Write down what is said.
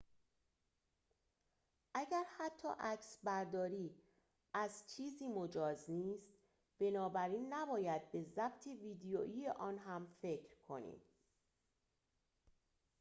اگر حتی عکسبرداری از چیزی مجاز نیست بنابراین نباید به ضبط ویدیویی آن هم فکر کنیم